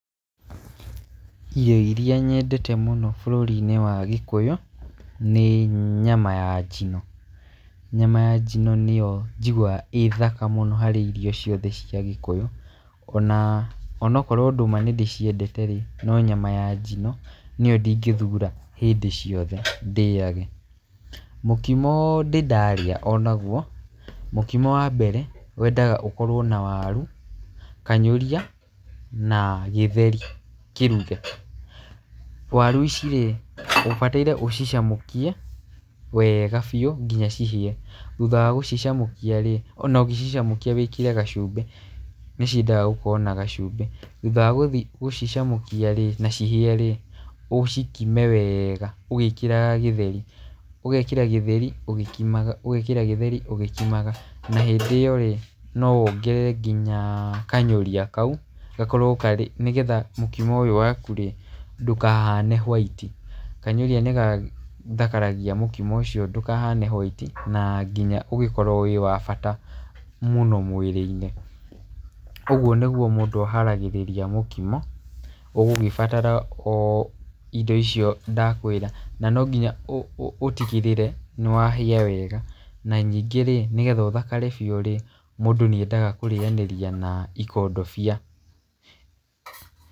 Irio irĩa nyendete mũno bũrũri-inĩ wa gĩkũyũ nĩ nyama ya njino. Nyama ya njino nĩyo njiguaga ĩĩ thaka mũno harĩ irio ciothe cia gĩkũyũ. Onokorwo ndũma nĩ ndĩciendete rĩ, no nyama ya njino nĩyo ndingĩthura hĩndĩ ciothe ndĩage. Mũkimo ndĩ ndarĩa onaguo, mũkimo wa mbere wendaga ũkorwo na waru, kanyũria na gĩtheri kĩruge. Waru ici rĩ ũbataire ũcicamũkie wega biũ nginya cihĩe. Thutha wa gũcicamũkia rĩ, ona ũgĩcicamũkia wĩkĩre gacumbĩ. Thutha wa gũcicamũkia rĩ na cihĩe rĩ, ũcikime wega ũgĩkĩraga gĩtheri. Ũgekĩra gĩtheri ugĩkimaga. Na hĩndĩ ĩyo rĩ no wongerere ngina kanyũria kau, nĩgetha mũkimo ũyũ waku rĩ ndũkahane white, kanyũrĩa nĩ gathakaragia mũkimo ucio ndũkahane white na nginya ũgĩkorwo wĩ wa bata mũno mwĩrĩ-inĩ. Ũguo nĩguo mũndũ akĩharagĩrĩria mũkimo, ũgũgĩbatara o indo icio ndakwĩra. Na no nginya ũtigĩrĩre nĩ wahĩa wega, na ningĩ ri, nĩgetha ũthakare biũ rĩ, mũndũ nĩendaga kũrĩanĩria na ikondobia.